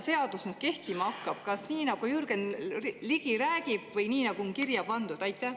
Mis kujul see seadus kehtima hakkab: kas nii, nagu Jürgen Ligi räägib, või nii, nagu on kirja pandud?